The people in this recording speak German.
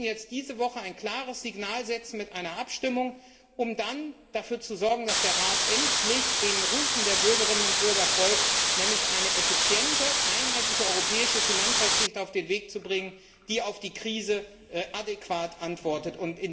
gefragt. Wir müssen jetzt diese Woche ein klares Signal setzen mit einer Abstimmung, um dann dafür zu sorgen, dass der Rat endlich den Rufen der Bürgerinnen und Bürger folgt, nämlich eine effiziente, einheitliche europäische Finanzaufsicht auf den Weg zu bringen, die auf die Krise adäquat antwortet.